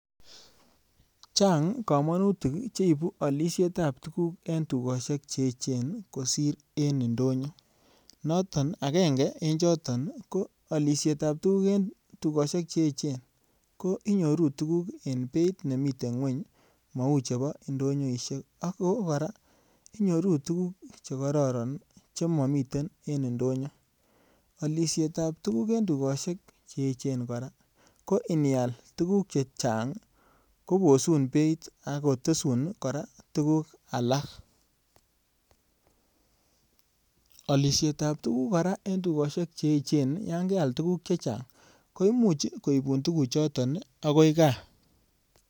Chang kamanutik che ibu alisietab tuguk en tugosiek che eechen kosir en indonyo. Noton agenge en choto ko alisietab tuguk en tugusiek che eechen ko inyoru tuguk eng beit ne miten ngweny mau chebo indonyoisiek ago kora inyoru tuguk che kororon chematen en indonyo. Alisietab tuguk en tugosiek che eechen kora ko anial tuguk che chang kobosun beit ak kotesun kora tuguk alak. Alisietab tuguk kora eng tugosiek che eechen yon keal tuguk che chang koimuch koibun tuguchoton agoi kaa.